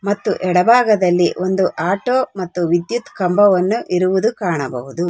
ಮತ್ತು ಎಡಭಾಗದಲ್ಲಿ ಒಂದು ಆಟೋ ಮತ್ತು ವಿದ್ಯುತ್ ಕಂಬವನ್ನು ಇರುವುದು ಕಾಣಬಹುದು.